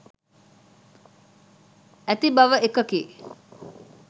ඇති බව එකකි.